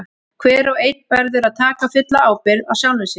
Hver og einn verður að taka fulla ábyrgð á sjálfum sér.